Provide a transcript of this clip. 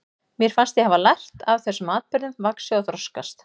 Mér fannst ég hafa lært af þessum atburðum, vaxið og þroskast.